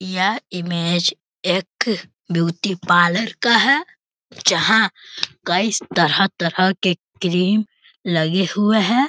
यह इमेज एक beauty parlour का है जहाँ कई तरह तरह के क्रीम लगे हुए हैं।